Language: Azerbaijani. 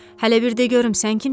Hələ bir də görüm, sən kimsən?